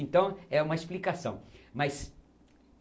Então, é uma explicação. mas